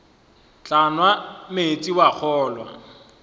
tla nwa meetse wa kgolwa